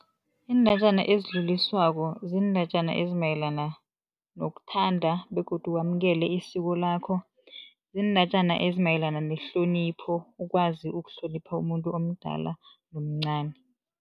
Iindatjana ezidluliswako ziindatjana ezimayelana nokuthanda begodu wamukela isiko lakho. Ziindatjana ezimayelana nehlonipho ukwazi ukuhlonipha umuntu omdala nomcani.